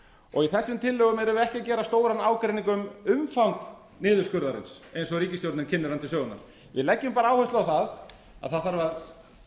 ríkisútgjöldin í þessum tillögum erum við ekki að gera stóran ágreining um umfang niðurskurðarinnar eins og ríkisstjórnin kynnir hann til sögunnar við leggjum bara áherslu á það að það þarf að